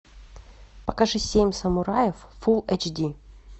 покажи семь самураев фул эйч ди